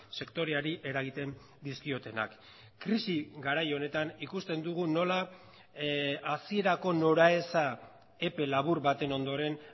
sektoreari eragiten dizkiotenak krisi garai honetan ikusten dugu nola hasierako noraeza epe labur baten ondoren